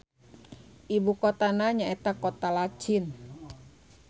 Ibu kotana nyaeta Kota Lachin.